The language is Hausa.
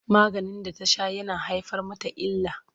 Maganin da ta sha yana haifar mata illa.